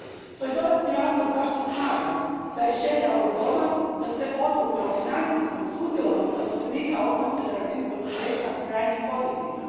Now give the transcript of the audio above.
To je dodatni razlog zašto smatram da je želja ovog Doma da se odluke o financijskom sudjelovanju zaposlenika donose na razini poduzeća krajnje pozitivna.